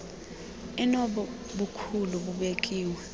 enobo bukhulu bubekiweyo